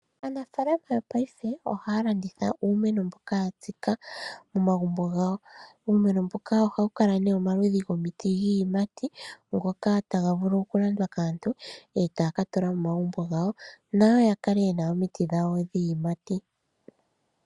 Aanafalama Paife ohaya landitha uumeno mbuka ya tsika momagumbo. Uumeno mbuka ohawu kala omaludhi gomiti yiiyimati ngoka taga vulu okulandwa kaantu etaka tula momagumbo gawo nayo ya kale yena omiti dhayo yiiyimati.